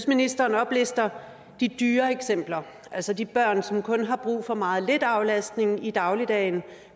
ministeren oplister de dyre eksempler altså de børn som kun har brug for meget lidt aflastning i dagligdagen